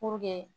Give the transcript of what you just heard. Puruke